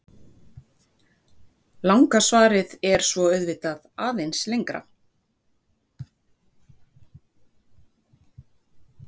Langa svarið er svo auðvitað aðeins lengra.